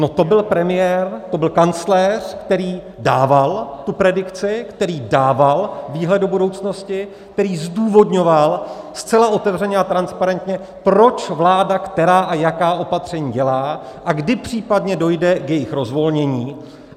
No to byl premiér, to byl kancléř, který dával tu predikci, který dával výhled do budoucnosti, který zdůvodňoval zcela otevřeně a transparentně, proč vláda, která a jaká opatření dělá a kdy případně dojde k jejich rozvolnění.